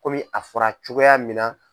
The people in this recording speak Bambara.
Kɔmi a fɔra cogoya min na.